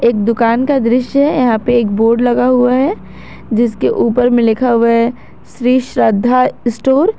एक दुकान का दृश्य है यहां पे एक बोर्ड लगा हुआ है जिसके ऊपर में लिखा हुआ है श्री श्रद्धा स्टोर ।